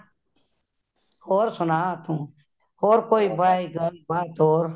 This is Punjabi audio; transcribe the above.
ਹੋਰ ਸੁਣਾ ਤੂੰ , ਹੋਰ ਕੋਈ ਬਈ ਗੱਲ ਬਾਤ ਹੋਰ